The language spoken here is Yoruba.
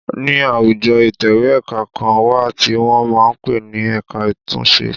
Ní àwùjọ ìtẹ̀wẹ́ ẹ̀ka kan wà tí wọn máa ń pe ní ẹ̀ka àtúnṣe.